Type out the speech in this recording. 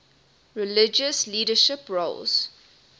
religious leadership roles